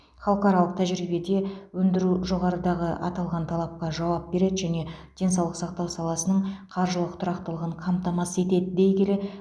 халықаралық тәжірибеде өндіру жоғарыдағы аталған талапқа жауап береді және денсаулық сақтау саласының қаржылық тұрақтылығын қамтамасыз етеді дей келе